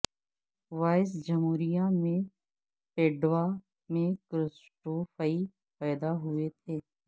voice جمہوریہ میں Padua میں کرسٹوفئی پیدا ہوئے تھے